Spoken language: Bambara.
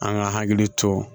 An ka hakili to